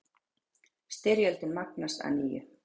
Styrjöldin magnast að nýju